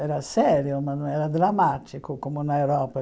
Era sério, mas não era dramático como na Europa.